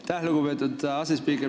Aitäh, lugupeetud asespiiker!